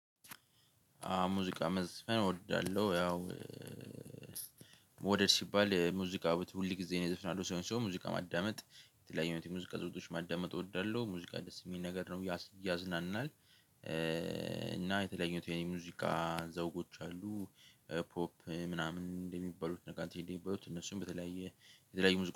ሙዚቃ መዝፈን እወዳለሁ። ያው መዉደድ ሲባል ሙዚቃ ሁል ጊዜ ነው የዘፍናለሁ ሰውን ሲሆን ሙዚቃ ማዳመጥ የተለያዩ ሙዚቃ ዝውውሮች ማዳመጥ እወዳለሁ። ሙዚቃ ደስ የሚል ነገር ነው እያዝናንናል። እና የተለያዩት የኔ ሙዚቃ ዘውጎች አሉ። ፖፕ ምናምን እንደሚባሉት ነገር እንዴ እንደሚባሉት እነሱን በተለያየ የተለያዩ